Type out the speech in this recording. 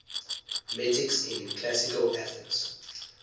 metics in classical athens